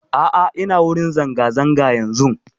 A'a ina wurin zanga-zanga yanzun.